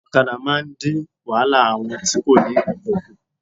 Òkadà máa ń dín wáhálà àwọn tí kò ní okò kù